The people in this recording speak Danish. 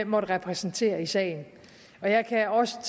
måtte repræsentere i sagen jeg kan også